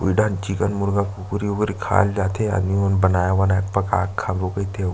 Eden chicken मुर्गा कुकुर उकुर खाय ल जाथे आदमी मन बनाय वनाय के पकाय खाबो कइथे --